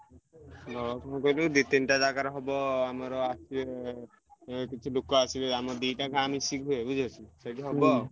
ଦି ତିନିଟା ଜାଗାରେ ହବ ଆମର ଆସିବେ କିଛି ଲୋକ ଆସିବେ ଦିଟା ଗାଁ ମିଶିକି ହୁଏ ବୁଝିପାରୁଛ ସେଇଠି ହବ ଆଉ।